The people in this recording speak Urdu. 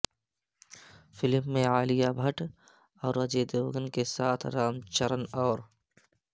فلم میں عالیہ بھٹ اور اجے دیوگن کے ساتھ رام چرن اور